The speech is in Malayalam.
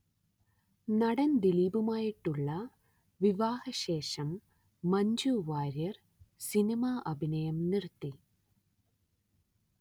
നടൻ ദിലീപുമായിട്ടുള്ള വിവാഹ ശേഷം മഞ്ജു വാര്യർ സിനിമ അഭിനയം നിർത്തി